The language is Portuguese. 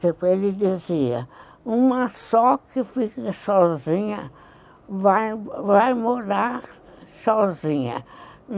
Depois ele dizia, uma só que fica sozinha vai vai morar sozinha.